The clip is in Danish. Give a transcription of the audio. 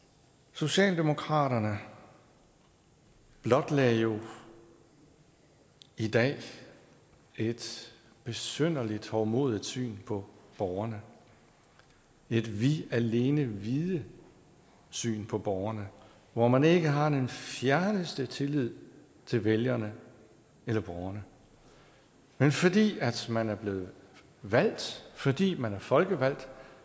socialdemokraterne blotlagde jo i dag et besynderligt hovmodigt syn på borgerne et vi alene vide syn på borgerne hvor man ikke har den fjerneste tillid til vælgerne eller borgerne men fordi man er blevet valgt fordi man er folkevalgt